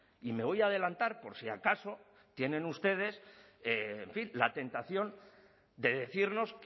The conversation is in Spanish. y me voy a adelantar por si acaso tienen ustedes en fin la tentación de decirnos